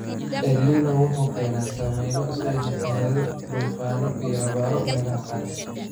Elnino wuxuu keenaa saameyno sida fatahaado, duufaano iyo abaaro meelaha qaar.